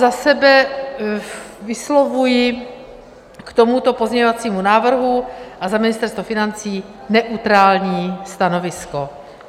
Za sebe vyslovuji k tomuto pozměňovacímu návrhu a za Ministerstvo financí neutrální stanovisko.